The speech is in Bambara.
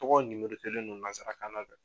Tɔgɔw nimorotelen do nazarakan na